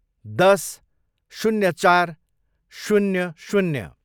दस, शून्य चार, शून्य शून्य